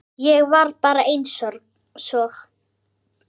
Ég var bara einsog